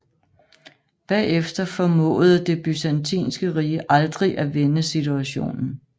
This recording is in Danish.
Bagefter formåede Det Byzantinske Rige aldrig at vende situationen